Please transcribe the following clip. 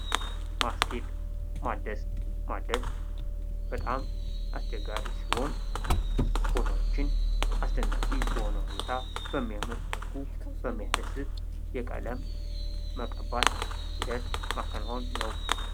ማስጌጥ ። ማደስ ፡ ማደስ በጣም አስቸጋሪ ሲሆን ቦታዎችን አስደናቂ በሆነ ሁኔታ በሚያምር መልኩ በሚያስደስት የቀለም መቀባት ሂደት ማከናወን ነው ።